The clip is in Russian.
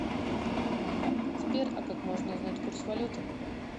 сбер а как можно узнать курс валюты